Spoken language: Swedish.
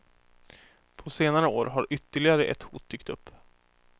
På senare år har ytterligare ett hot dykt upp.